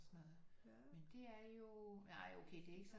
Og sådan noget men det er jo nej okay det er ikke sådan